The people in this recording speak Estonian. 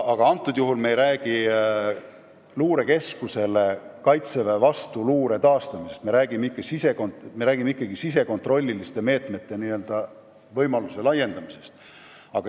Aga antud juhul me ei räägi luurekeskusele Kaitseväe vastuluuretegevuse andmisest, me räägime sisekontrolli meetmete laiemast rakendamisest.